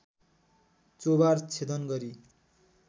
चोभार छेदन गरी